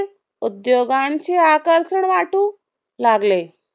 उद्योगांचे आकर्षण वाटू लागले.